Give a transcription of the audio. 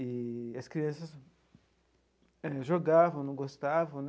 E as crianças jogavam, não gostavam.